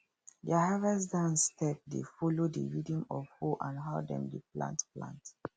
their harvest dance step dey follow the rhythm of hoe and how dem dey plant plant